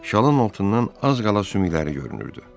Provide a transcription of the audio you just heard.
Şalın altından az qala sümükləri görünürdü.